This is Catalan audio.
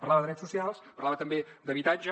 parlava de drets socials parlava també d’habitatge